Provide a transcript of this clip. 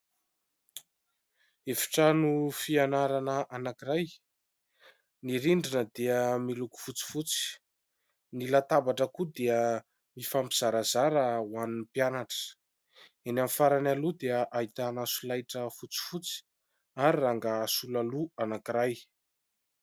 Efitrano fianarana anankiray : ny rindrina dia miloko fotsifotsy, ny latabatra koa dia mifampizarazara ho an'ny mpianatra, eny amin'ny farany aloha dia ahitana solaitra fotsifotsy ary rangaha sola loha anankiray.